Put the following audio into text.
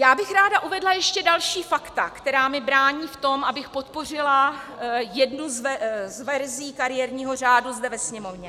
Já bych ráda uvedla ještě další fakta, která mi brání v tom, abych podpořila jednu z verzí kariérního řádu zde ve Sněmovně.